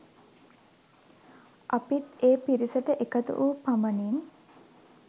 අපිත් ඒ පිරිසට එකතු වූ පමණින්